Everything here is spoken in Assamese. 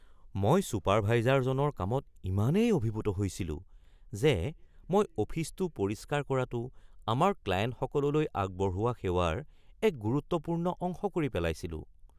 মই চুপাৰভাইজাৰজনৰ কামত ইমানেই অভিভূত হৈছিলো যে মই অফিচটো পৰিষ্কাৰ কৰাতোঁ আমাৰ ক্লায়েণ্টসকললৈ আগবঢ়োৱা সেৱাৰ এক গুৰুত্বপূৰ্ণ অংশ কৰি পেলাইছিলোঁ।